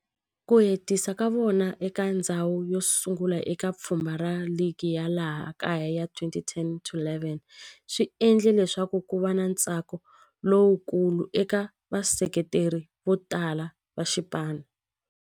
Ku hetisa ka vona eka ndzhawu yosungula eka pfhumba ra ligi ya laha kaya ya 2010-11 swi endle leswaku kuva na ntsako lowukulu eka vaseketeri votala va xipano.